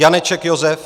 Janeček Josef